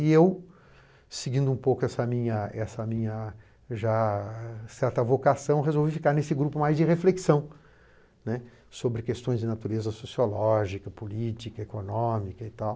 E eu, seguindo um pouco essa minha essa minha já certa vocação, resolvi ficar nesse grupo mais de reflexão, né, sobre questões de natureza sociológica, política, econômica e tal.